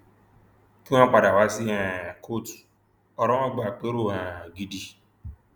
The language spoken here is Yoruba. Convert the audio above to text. kí wọn padà wá sí um kóòtù ọrọ wọn gba àpérò um gidi